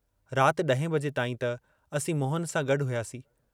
रात इहें बजे ताईं त असीं मोहन सां गड्डु हुआसीं।